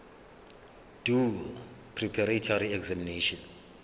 doe preparatory examination